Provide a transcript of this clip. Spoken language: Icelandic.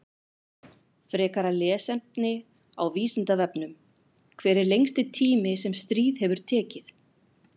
Frekara lesefni á Vísindavefnum: Hver er lengsti tími sem stríð hefur tekið?